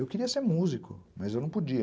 Eu queria ser músico, mas eu não podia.